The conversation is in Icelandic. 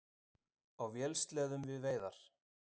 Á vélsleðum við veiðar